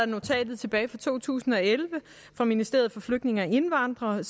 notatet tilbage fra to tusind og elleve fra ministeriet for flygtninge og indvandrere